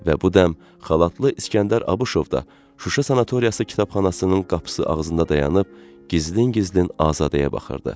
Və bu dəm xalatlı İskəndər Abışov da Şuşa sanatoriyası kitabxanasının qapısı ağzında dayanıb gizlin-gizlin Azadəyə baxırdı.